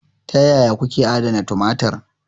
Ta yaya kuke adana tumatir?